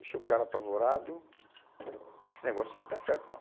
Deixou o cara apavorado, esse negócio aqui não está certo não.